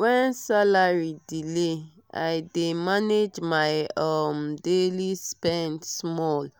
when salary delay i dey manage my um daily spend small-small